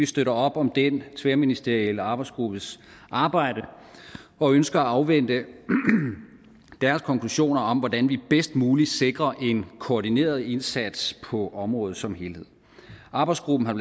støtter op om den tværministerielle arbejdsgruppes arbejde og ønsker at afvente deres konklusioner om hvordan vi bedst muligt sikrer en koordineret indsats på området som helhed arbejdsgruppen har